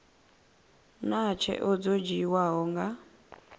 naa tsheo dzo dzhiiwaho nga